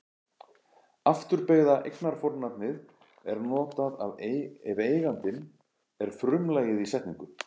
Afturbeygða eignarfornafnið er notað ef eigandinn er frumlagið í setningu.